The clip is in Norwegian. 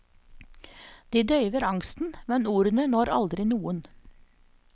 De døyver angsten, men ordene når aldri noen.